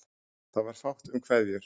Það varð fátt um kveðjur.